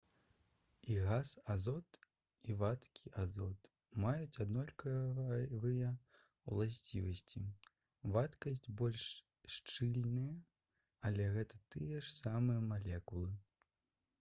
і газ азот і вадкі азот маюць аднолькавыя ўласцівасці вадкасць больш шчыльная але гэта тыя ж самыя малекулы